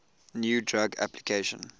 new drug application